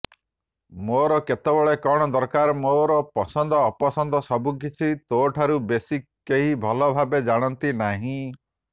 ମୋର କେତେବେଳେ କଣ ଦରକାର ମୋର ପସନ୍ଦ ଅପସନ୍ଦ ସବୁକିଛି ତୋଠାରୁ ବେଶୀ କେହିଭଲଭାବେ ଜାଣନ୍ତିନାହିଁ